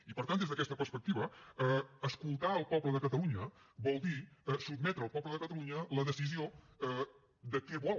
i per tant des d’aquesta perspectiva escoltar el poble de catalunya vol dir sotmetre el poble de catalunya la decisió de què vol